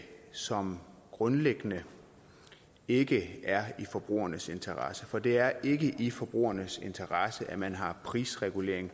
som grundlæggende ikke er i forbrugernes interesse for det er ikke i forbrugernes interesse at man har prisregulering